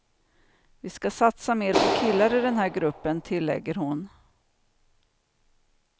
Vi ska satsa mer på killar i den här gruppen, tillägger hon.